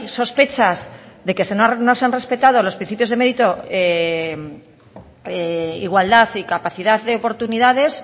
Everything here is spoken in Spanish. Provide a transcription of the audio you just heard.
sospechas de que no se han respetado los principios de mérito igualdad y capacidad de oportunidades